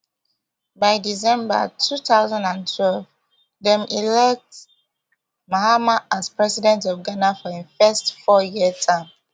by december two thousand and twelve dem elect mahama as president of ghana for im first fouryear term